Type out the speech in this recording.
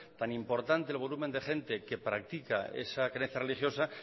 tan importante el volumen de gente que practica esa creencia religiosa